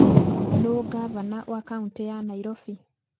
Nũũ ngavana wa kaũntĩ ya Nairobi?